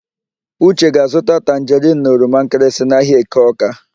Uche ga-azụta tanjerịn na oromankịrịsị n'ahịa Eke Ọ́ká.